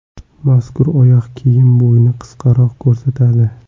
Mazkur oyoq kiyim bo‘yni qisqaroq ko‘rsatadi.